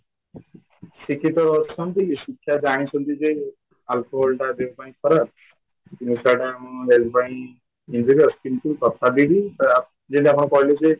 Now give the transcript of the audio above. ଶିକ୍ଷିତ ଅଛନ୍ତି ଶିକ୍ଷା ଜାଣିଛନ୍ତି ଯେ alcoholଟା ଦେହ ପାଇଁ ଖରାପ ନିଶାଟା ଆମ health ପାଇଁ injurious କିନ୍ତୁ ତଥାପିବି ଅ ଯେମିତି ଆପଣ କହିଲେଯେ